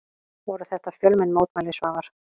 Voru þetta fjölmenn mótmæli Svavar?